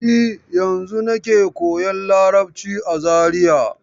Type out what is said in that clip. E, yanzun nake koyan Larabci a Zariya.